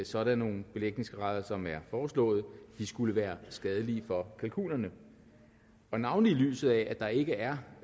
sådan nogle belægningsgrader som er foreslået skulle være skadelige for kalkunerne navnlig i lyset af at der ikke er